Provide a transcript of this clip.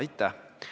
Aitäh!